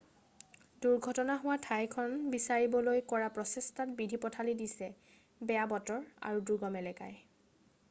দুৰ্ঘটনা হোৱা ঠাইখন বিচাৰিবলৈ কৰা প্ৰচেষ্টাত বিধি পথালি দিছে বেয়া বতৰ আৰু দুৰ্গম এলেকাই